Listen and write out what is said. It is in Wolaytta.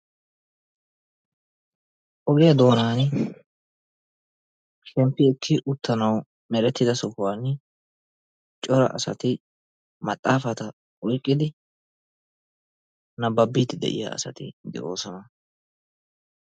Ogiya doonaani shemppi ekki uttanawu meretida sohuwan cora asati maxaafata oyqqidi nabbabbiid de'iya asati de'oosona.